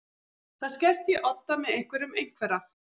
Það skerst í odda með einhverjum einhverra